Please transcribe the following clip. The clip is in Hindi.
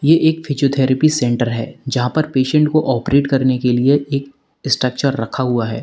ये एक फिजियोथैरेपी सेंटर है जहां पर पेशेंट को ऑपरेट करने के लिए एक स्ट्रक्चर रखा हुआ है।